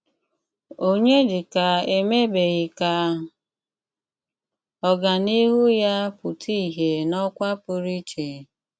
Ọnyédíkà émèbèghí ká ọ́gáníhù yá pụtà ìhé n’ókwà pụrụ íché?